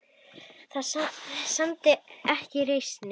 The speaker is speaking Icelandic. Það sæmdi ekki reisn þinni.